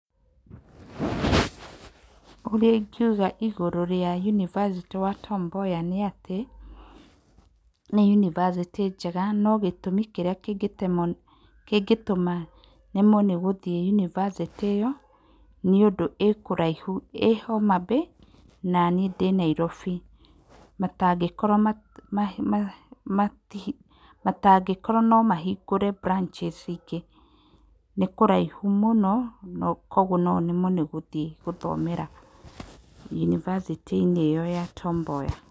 Ũrĩa ingiuga ũhoro wa yunibacĩtĩ wa Tom Mboya nĩ atĩ nĩ University njega no gĩtũmi kĩrĩa kĩngĩtũma nemwo nĩ gũthiĩ yunibacĩtĩ ĩyo nĩ ũndũ ĩĩ kũraihu ĩĩ Homabay na niĩ ndĩ Nairobi matangĩkorwo no mahingũre branches ingĩ nĩ kũraihu mũno kwoguo no nemwo nĩ gũthiĩ gũthomera yunibacĩtĩ ĩyo ya Tom Mboya.